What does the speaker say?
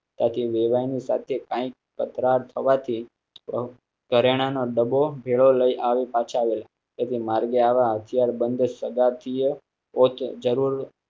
તાકી વેવાણ ની સાથે તકરાર થવા થી ઘરેણાંનો ડબો ભેળો લઈ આવી પાછળ. તે થિ માર્ગે આવા હત્યાર બંધ સજાતીય જરૂર